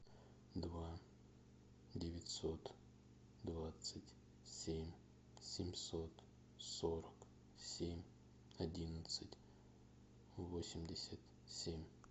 два девятьсот двадцать семь семьсот сорок семь одиннадцать восемьдесят семь